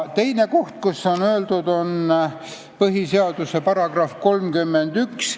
Teine koht, kus sellest on räägitud, on põhiseaduse § 31.